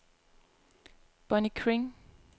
Bonnie Kring